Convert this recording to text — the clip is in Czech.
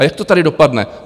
A jak to tady dopadne?